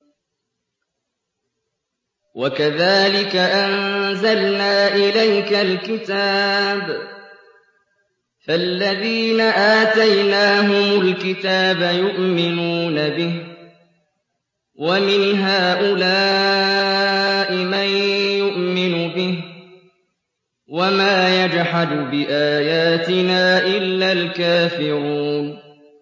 وَكَذَٰلِكَ أَنزَلْنَا إِلَيْكَ الْكِتَابَ ۚ فَالَّذِينَ آتَيْنَاهُمُ الْكِتَابَ يُؤْمِنُونَ بِهِ ۖ وَمِنْ هَٰؤُلَاءِ مَن يُؤْمِنُ بِهِ ۚ وَمَا يَجْحَدُ بِآيَاتِنَا إِلَّا الْكَافِرُونَ